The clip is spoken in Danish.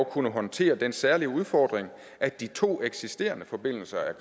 kunne håndtere den særlige udfordring at de to eksisterende forbindelser er